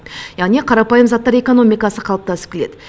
яғни қарапайым заттар экономикасы қалыптасып келеді